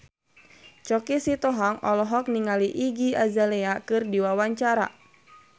Choky Sitohang olohok ningali Iggy Azalea keur diwawancara